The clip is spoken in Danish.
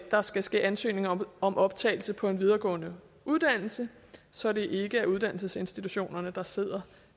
der skal ske ansøgning om om optagelse på en videregående uddannelse så det ikke er uddannelsesinstitutionerne der sidder